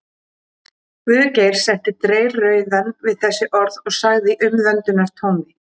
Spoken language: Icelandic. Guðgeir setti dreyrrauðan við þessi orð og sagði í umvöndunartóni